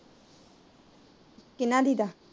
ਕਿੰਨਾ